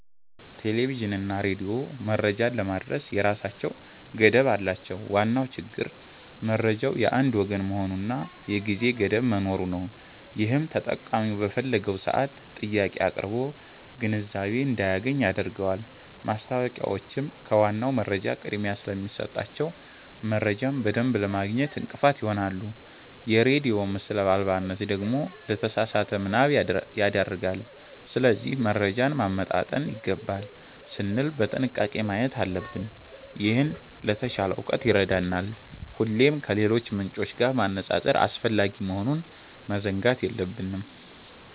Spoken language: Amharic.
ቴሌቪዥንና ሬዲዮ መረጃን ለማድረስ የራሳቸው ገደብ አላቸው። ዋናው ችግር መረጃው የአንድ ወገን መሆኑና የጊዜ ገደብ መኖሩ ነው፤ ይህም ተጠቃሚው በፈለገው ሰዓት ጥያቄ አቅርቦ ግንዛቤ እንዳያገኝ ያደርገዋል። ማስታወቂያዎችም ከዋናው መረጃ ቅድሚያ ስለሚሰጣቸው፣ መረጃን በደንብ ለማግኘት እንቅፋት ይሆናሉ። የሬዲዮ ምስል አልባነት ደግሞ ለተሳሳተ ምናብ ይዳርጋል። ስለዚህ መረጃን ማመጣጠን ይገባል ስንል በጥንቃቄ ማየት አለብን፤ ይህም ለተሻለ እውቀት ይረዳናል። ሁሌም ከሌሎች ምንጮች ጋር ማነጻጸር አስፈላጊ መሆኑን መዘንጋት የለብንም።